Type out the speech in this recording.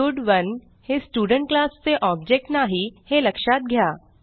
स्टड1 हे student class चे ऑब्जेक्ट नाही हे लक्षात घ्या